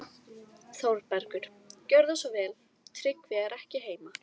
ÞÓRBERGUR: Gjörðu svo vel, Tryggvi er ekki heima.